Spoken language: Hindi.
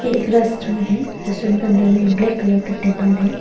ये एक रेस्टोरेंट है रेस्टोरेंट के अंदर में ब्लैक कलर का टेबल है।